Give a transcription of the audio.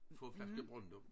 For en flaske Brøndum